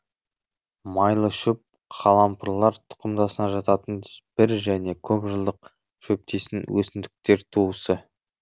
майлышөп қалампырлар тұқымдасына жататын бір және көп жылдық шөптесін өсімдіктер туысы